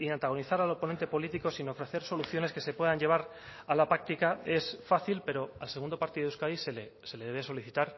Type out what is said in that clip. y antagonizar al oponente político sino ofrecer soluciones que se puedan llevar a la práctica es fácil pero al segundo partido de euskadi se le debe solicitar